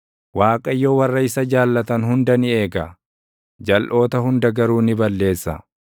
Waaqayyo warra isa jaallatan hunda ni eega; jalʼoota hunda garuu ni balleessa.